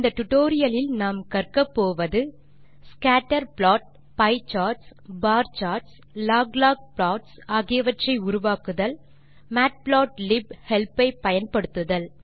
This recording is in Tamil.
டுடோரியலின் நிறைவில் நம்மால் இவற்றை செய்ய முடியும் ஸ்கேட்டர் ப்ளாட் ஐ உருவாக்குதல் பியே சார்ட்ஸ் உருவாக்குதல் பார் சார்ட்ஸ் உருவாக்குதல் log லாக் ப்ளாட்ஸ் உருவாக்குதல் மேட்புளாட்லிப் ஹெல்ப் ஐ பயன்படுத்துதல்